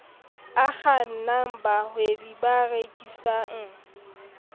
a kgannang bahwebi ba rekisang